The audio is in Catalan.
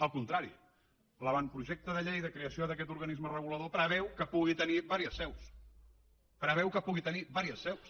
al contrari l’avantprojecte de llei de creació d’aquest organisme regulador preveu que pugui tenir diverses seus preveu que pugui tenir diverses seus